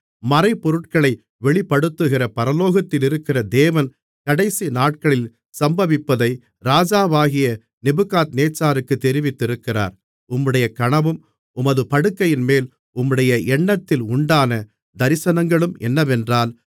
மறைபொருட்களை வெளிப்படுத்துகிற பரலோகத்திலிருக்கிற தேவன் கடைசிநாட்களில் சம்பவிப்பதை ராஜாவாகிய நேபுகாத்நேச்சாருக்குத் தெரிவித்திருக்கிறார் உம்முடைய கனவும் உமது படுக்கையின்மேல் உம்முடைய எண்ணத்தில் உண்டான தரிசனங்களும் என்னவென்றால்